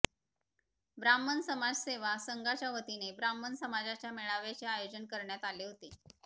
ब्राह्मण समाज सेवा संघाच्या वतीने ब्राह्मण समाजाच्या मेळाव्याचे आयोजन करण्यात आले होते